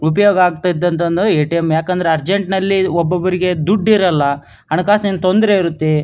ಉಪಯೋಗ ಆಗ್ತಾ ಇದ್ದದ್ ಅಂದ್ರೆ ಎ_ಟಿ_ಎಂ ಯಾಕಂದ್ರೆ ಉರ್ಜೆಂಟ್ನಲ್ಲಿ ಒಬ್ಬೊಬ್ಬರಿಗೆ ದುಡ್ ಇರೋಲ್ಲ ಹಣಕಾಸಿನ ತೊಂದರೆ ಇರುತ್ತೆ.